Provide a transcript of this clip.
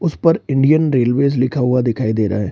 उसपर Indian railway लिखा हुआ दिखाई दे रहा है।